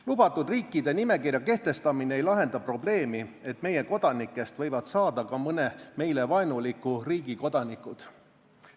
Lubatud riikide nimekirja kehtestamine ei lahenda probleemi, et meie kodanikest võivad saada ka mõne meile vaenuliku riigi kodanikud.